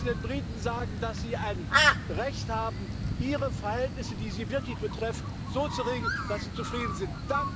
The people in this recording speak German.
Wir müssen den Briten sagen, dass sie ein Recht haben, ihre Verhältnisse, die sie wirklich betreffen, so zu regeln, dass sie zufrieden sind.